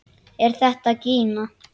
Er þetta gína?